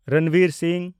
Ranbir Singh